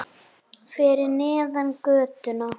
Fyrir neðan götuna.